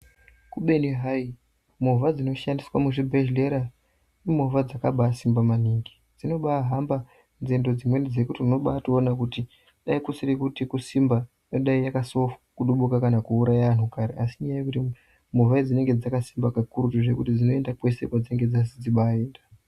Kubeni hai movha dzinoshandiswa muzvibhedhlera imovha dzakabasimba maningi dzinobahamba Zvimweni zvekuti unobaona kuti dai kusiri kuti kusimba ingadai yakasofa kukudubuka kana kuuraya vanhu kare asi nyaya yekuti movha idzi dzinenge dzakasimba kakurutu zvekuti dzinoenda kwese kwadzinoda kunzi dziende.